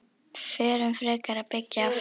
Förum frekar að byggja aftur.